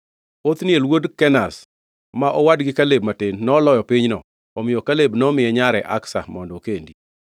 Othniel wuod Kenaz, ma owadgi Kaleb matin, noloyo pinyno, omiyo Kaleb nomiye nyare Aksa mondo okendi.